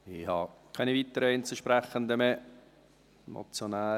Ich habe keine weiteren Einzelsprechenden mehr.